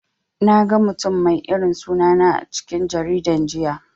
Naga mutum mai irin suna na a cikin jaridan jiya.